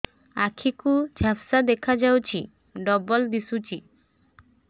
ଆଖି କୁ ଝାପ୍ସା ଦେଖାଯାଉଛି ଡବଳ ଦିଶୁଚି